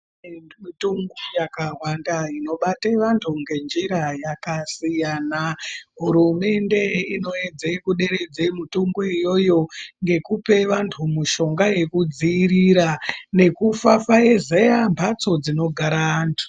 Mitungo yakawanda inobate vantu ngenjira yakasiyana Hurumende inoedza kuderedza mutungoyo ngekupe vantu mutombo wekudzivirira nekufafaizeya mhatso dzinogare antu